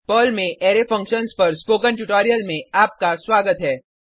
Perl में array functions पर spoken tutorial में आपका स्वागत है